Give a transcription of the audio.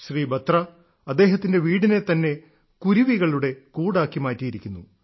ശ്രീ ബത്ര അദ്ദേഹത്തിന്റെ വീടിനെ തന്നെ കുരുവികളുടെ കൂടാക്കി മാറ്റിയിരിക്കുന്നു